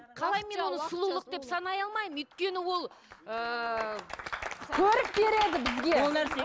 қалай мен оны сұлулық деп санай алмаймын өйткені ол ыыы көрік береді бізге